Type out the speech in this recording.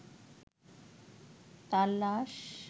তাঁর লাশ